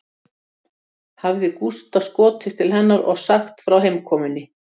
Hafði Gústa skotist til hennar og sagt frá heimkomunni